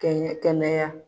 Cɛɲɛn kɛnɛya.